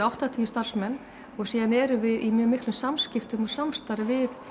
áttatíu starfsmenn og síðan erum við í mjög miklum samskiptum og samstarfi við